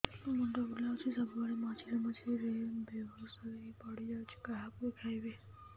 ମୁଣ୍ଡ ବୁଲାଉଛି ସବୁବେଳେ ମଝିରେ ମଝିରେ ବେହୋସ ହେଇ ପଡିଯାଉଛି କାହାକୁ ଦେଖେଇବି